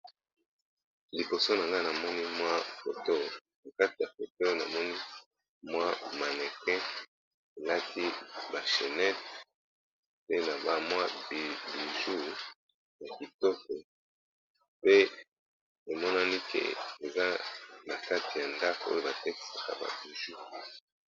Liboso na nga na moni mwa foto, na kati ya foto namoni mwa manequin elaki ba shenete pe na ba mwa biju ya kitoko pe emonani ke eza na kati ya ndako oyo ba tekisaka ba biju.